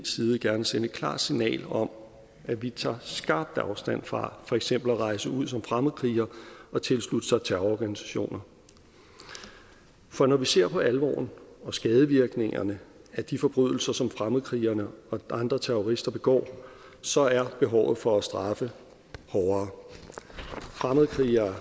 side gerne sende et klart signal om at vi tager skarpt afstand fra for eksempel at rejse ud som fremmedkriger og tilslutte sig terrororganisationer for når vi ser på alvoren og skadevirkningerne af de forbrydelser som fremmedkrigerne og andre terrorister begår så er behovet for at straffe hårdere fremmedkrigere